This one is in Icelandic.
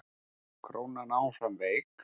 Krónan áfram veik